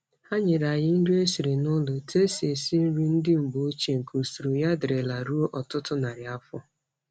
Ha nyere anyị nri e siri n'ụlọ etu e si esi nri ndị mgbe ochie nke usoro ya dirila ruo ọtụtụ narị afọ.